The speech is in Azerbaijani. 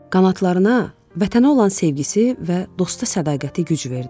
Qanadlarına Vətənə olan sevgisi və dosta sədaqəti güc verdi.